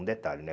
Um detalhe, né?